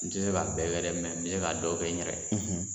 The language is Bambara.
N te se ka bɛɛ kɛ dɛ, n be se ka dɔ kɛ n yɛrɛ ye